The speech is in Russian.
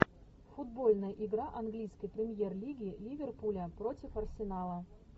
футбольная игра английской премьер лиги ливерпуля против арсенала